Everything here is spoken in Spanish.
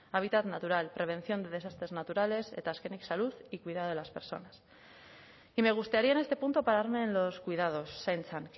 hábitat natural prevención de desastres naturales eta azkenik salud y cuidado de las personas y me gustaría en este punto pararme en los cuidados zaintzan